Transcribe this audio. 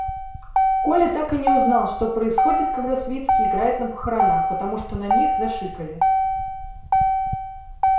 коля так и не узнал что происходит когда свицкий играет на похоронах потому что на них зашикали